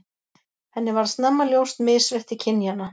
Henni varð snemma ljóst misrétti kynjanna.